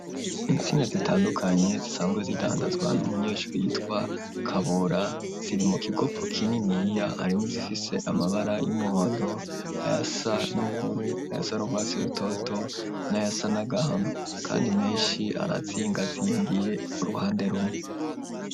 Intsinga zitandukanye, zisanzwe zidandazwa, n'umunyeshuri yitwa Kabura, ziri mu kigopo kininiya; harimwo izifise amabara y'umuhondo, ayasa n'ubururu, ayasa nurwatsi rutoto, n'ayasa n’agahama; kandi menshi, arazingazingiye uruhande rumwe.